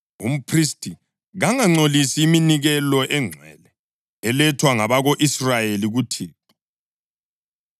Umphristi kangangcolisi iminikelo engcwele elethwa ngabako-Israyeli kuThixo